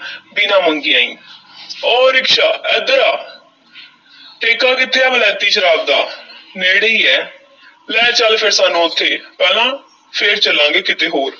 ਬਿਨਾਂ ਮੰਗਿਆਂ ਹੀ ਓਹ ਰਿਕਸ਼ਾ ਐਧਰ ਆ ਠੇਕਾ ਕਿੱਥੇ ਆ ਵਲੈਤੀ ਸ਼ਰਾਬ ਦਾ ਨੇੜੇ ਹੀ ਹੈ ਲੈ ਚੱਲ ਫੇਰ ਸਾਨੂੰ ਉੱਥੇ ਪਹਿਲਾਂ, ਫੇਰ ਚੱਲਾਂਗੇ ਕਿਤੇ ਹੋਰ।